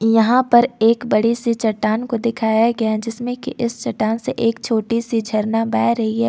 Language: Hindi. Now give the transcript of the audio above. यहां पर एक बड़ी से चट्टान को दिखाया गया जिसमें कि इस चट्टान से एक छोटी सी झरना बह रही है।